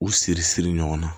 U siri siri ɲɔgɔn na